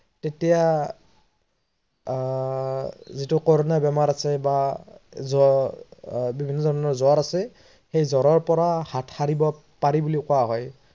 তেতিয়া আহ যিটো কৰোনা বেমাৰ আছে বা জ্বৰ বা বিভিন্ন ধৰনৰ জ্বৰ আছে সেই জ্বৰৰ পৰা হাত শাৰিব পাৰি বুলি কোৱা হয়